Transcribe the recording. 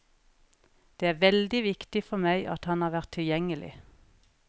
Det er veldig viktig for meg at han har vært tilgjengelig.